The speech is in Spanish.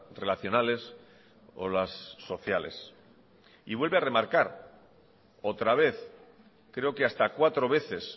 relacionales o las sociales y vuelve a remarcar otra vez creo que hasta cuatro veces